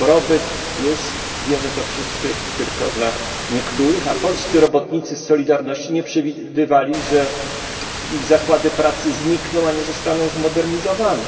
Dobrobyt jest, wiemy to wszyscy, tylko dla niektórych, a polscy robotnicy z Solidarności nie przewidywali, że ich zakłady pracy znikną, a nie zostaną zmodernizowane.